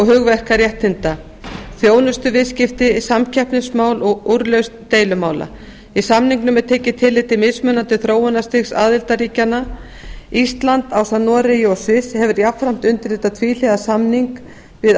hugverkaréttinda þjónustuviðskipti samkeppnismál og úrlausn deilumála í samningnum er tekið tillit til mismunandi þróunarstigs aðildarríkjanna ísland ásamt noregi og sviss hefur jafnframt undirritað tvíhliða samning við